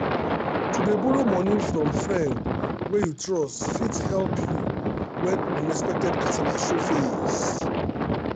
to dey borrow money from friend wey you trust fit help you when unexpected kasala show face.